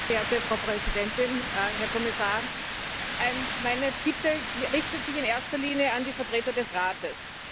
Herr Präsident, Frau Präsidentin, Herr Kommissar! Meine Bitte richtet sich in erster Linie an die Vertreter des Rates.